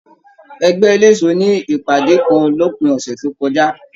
Ẹgbẹ ẹlẹṣọ ní ìpàdé kàn l'opin ọsẹ tó kọjá.